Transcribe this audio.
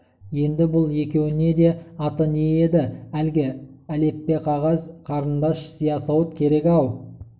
енді бүл екеуіне де аты не еді әлгі әліппеқағаз қарындаш сиясауыт керек-ау